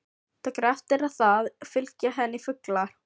Tekur eftir að það fylgja henni fuglar.